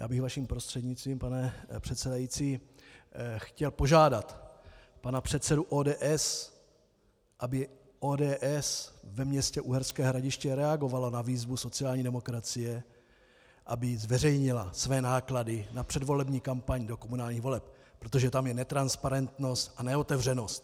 Já bych vaším prostřednictvím, pane předsedající, chtěl požádat pana předsedu ODS, aby ODS ve městě Uherské Hradiště reagovala na výzvu sociální demokracie, aby zveřejnila své náklady na předvolební kampaň do komunálních voleb, protože tam je netransparentnost a neotevřenost.